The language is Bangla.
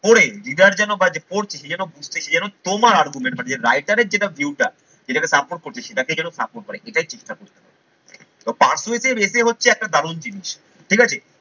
পড়ে reader যেন বা যে পড়ছে সে যেন তোমার argument মানে writer এর যেটা view টা যেটাকে support করছে সেটাকেই যেন support করে। এটাই চেষ্টা করতে হবে persuasive essay হচ্ছে একটা দারুন জিনিস ঠিক আছে।